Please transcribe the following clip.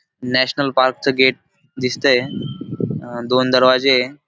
National park च gate दिसतंय. अ दोन दरवाजे ए --